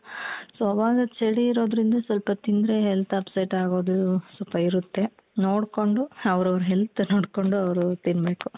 so ಆವಾಗ ಚಳಿ ಇರೋದ್ರಿಂದ ಸ್ವಲ್ಪ ತಿಂದ್ರೆ health upset ಆಗೋದು ಸ್ವಲ್ಪ ಇರುತ್ತೆ ನೋಡ್ಕೊಂಡು ಅವ್ರವ್ರ health ನೋಡ್ಕೊಂಡ್ ಅವ್ರವ್ರು ತಿನ್ಬೇಕು.